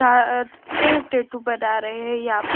आआह प् टैटू बना रहे हैं यहां प--